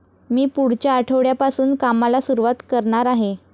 मी पुढच्या आठवड्यापासून कामाला सुरुवात करणार आहे.